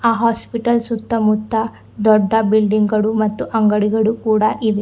ಹ ಹಾಸ್ಪಿಟಲ್ ಸುತ್ತ ಮುತ್ತ ದೊಡ್ಡ ಬಿಲ್ಡಿಂಗ್ ಗಳು ಮತ್ತು ಅಂಗಡಿಗಳು ಕೂಡ ಇವೆ.